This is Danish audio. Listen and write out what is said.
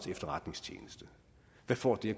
efterretningstjeneste hvad får det